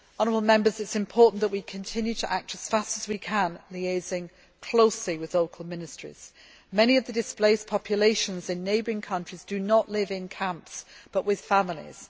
It is important that we continue to act as fast as we can, liaising closely with local ministries. Many of the displaced populations in neighbouring countries live not in camps but with families.